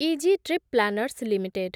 easy trip planners limited